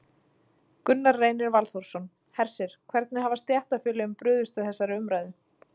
Gunnar Reynir Valþórsson: Hersir, hvernig hafa stéttarfélögin brugðist við þessari umræðu?